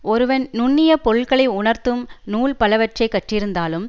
ஒருவன் நுண்ணிய பொருள்களை உணர்த்தும் நூல் பலவற்றை கற்றிருந்தாலும்